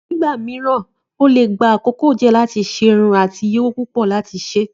Nígbà mìíràn, ó lè gba àkókò díẹ̀ láti ṣe irun àti iye owó púpọ̀ láti ṣe.